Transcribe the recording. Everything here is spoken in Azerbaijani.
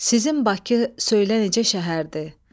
Sizin Bakı söylə necə şəhərdir?